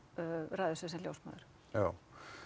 ræður sig sem ljósmóður já